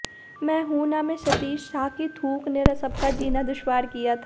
मैं हूं ना में सतीश शाह की थूक ने सबका जीना दुश्वार किया था